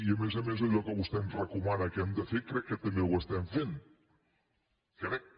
i a més a més allò que vostè ens recomana que hem de fer crec que també ho estem fent ho crec